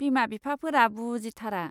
बिमा बिफाफोरा बुजिथारा।